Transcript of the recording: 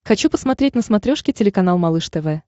хочу посмотреть на смотрешке телеканал малыш тв